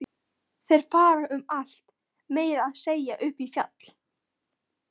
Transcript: Þeir fara um allt, meira að segja upp í fjall.